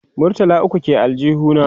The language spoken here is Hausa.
murtala ukwu ke aljihu na